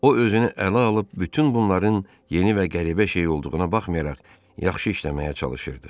O özünü ələ alıb bütün bunların yeni və qəribə şey olduğuna baxmayaraq, yaxşı işləməyə çalışırdı.